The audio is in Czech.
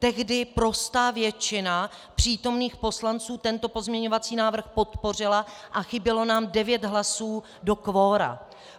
Tehdy prostá většina přítomných poslanců tento pozměňovací návrh podpořila a chybělo nám devět hlasů do kvora.